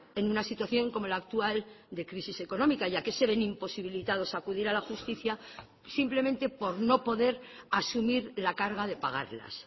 en una situación como la actual de crisis económica ya que se ven imposibilitados a acudir a la justicia simplemente por no poder asumir la carga de pagarlas